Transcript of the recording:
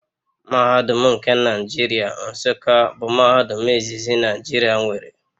Mahadum nke Nigeria Nsuka bụ mahadum izizi Naijiria nwere